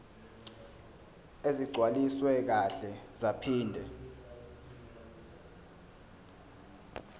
ezigcwaliswe kahle zaphinde